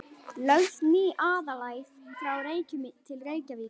Lögð ný aðalæð frá Reykjum til Reykjavíkur.